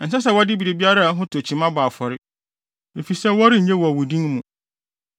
Ɛnsɛ sɛ wɔde biribiara a ɛho tɔ kyima bɔ afɔre, efisɛ wɔrennye wɔ wo din mu.